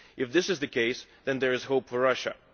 If this is the case, then there is hope for Russia.